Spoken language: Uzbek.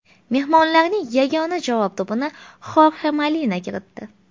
Mehmonlarning yagona javob to‘pini Xorxe Molina kiritdi.